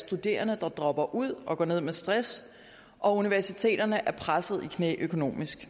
studerende der dropper ud og går ned med stress og universiteterne er presset i knæ økonomisk